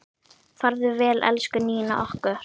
Farðu vel, elsku Nína okkar.